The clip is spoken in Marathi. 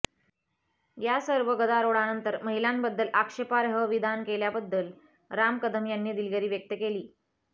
या सर्व गदारोळानंतर महिलांबद्दल आक्षेपार्ह विधान केल्याबद्दल राम कदम यांनी दिलगिरी व्यक्त केली